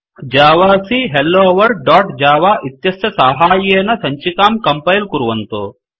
जावाक hello world dot java इत्यस्य साहाय्येन सञ्चिकां कंपैल कुर्वतु